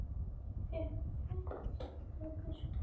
Ég fékk fjallgönguskó.